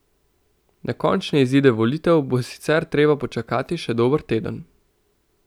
Na končne izide volitev bo sicer treba počakati še dober teden.